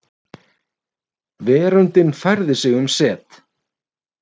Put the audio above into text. Veröldin færði sig um set.